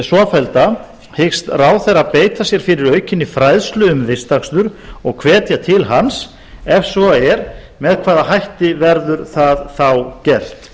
svofellda hyggst ráðherra beita sér fyrir aukinni fræðslu um vistakstur og hvetja til hans ef svo er með hvaða hætti verður það þá gert